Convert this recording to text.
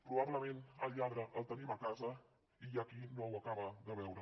probablement el lladre el tenim a casa i hi ha qui no ho acaba de veure